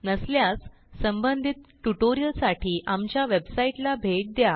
नसल्यास संबंधित ट्युटोरियलसाठी आमच्या वेबसाईटला भेट द्या